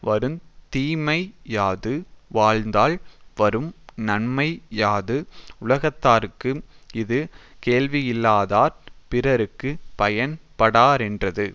வருந் தீமை யாது வாழ்ந்தால் வரும் நன்மை யாது உலகத்தார்க்கு இது கேள்வியில்லாதார் பிறர்க்கு பயன் படாரென்றது